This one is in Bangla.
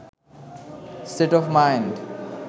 state of mind